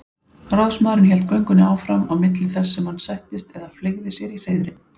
Ráðsmaðurinn hélt göngunni áfram á milli þess sem hann settist eða fleygði sér í hreiðrin.